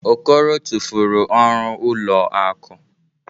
Okoro tụfuru ọrụ ụlọ akụ.